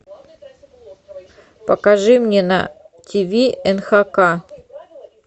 покажи мне на тв нхк